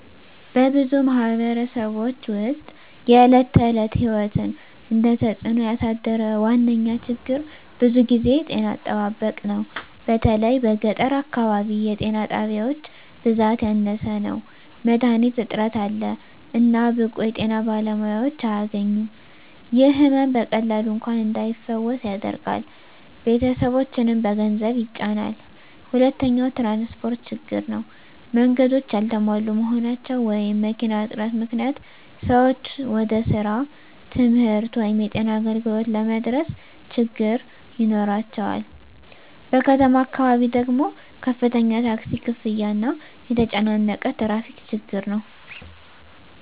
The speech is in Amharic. በብዙ ማኅበረሰቦች ውስጥ የዕለት ተዕለት ሕይወትን እየተጽእኖ ያሳደረ ዋነኛ ችግር ብዙ ጊዜ ጤና አጠባበቅ ነው። በተለይ በገጠር አካባቢ የጤና ጣቢያዎች ብዛት ያነሰ ነው፣ መድሀኒት እጥረት አለ፣ እና ብቁ የጤና ባለሙያዎች አያገኙም። ይህ ሕመም በቀላሉ እንኳን እንዳይፈወስ ያደርጋል፣ ቤተሰቦችንም በገንዘብ ይጫናል። ሁለተኛው ትራንስፖርት ችግር ነው። መንገዶች ያልተሟሉ መሆናቸው ወይም መኪና እጥረት ምክንያት ሰዎች ወደ ስራ፣ ትምህርት ወይም የጤና አገልግሎት ለመድረስ ችግኝ ይኖራቸዋል። በከተማ አካባቢ ደግሞ ከፍተኛ ታክሲ ክፍያ እና የተጨናነቀ ትራፊክ ችግር ነው።